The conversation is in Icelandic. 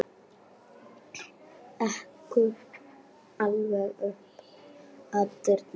Ekur alveg upp að dyrum.